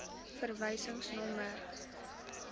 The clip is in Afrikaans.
verwysingsnommer